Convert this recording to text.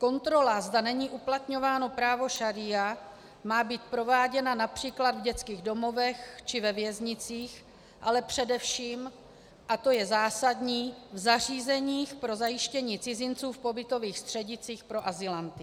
Kontrola, zda není uplatňováno právo šaría, má být prováděna například v dětských domovech či ve věznicích, ale především, a to je zásadní, v zařízeních pro zajištění cizinců v pobytových střediscích pro azylanty.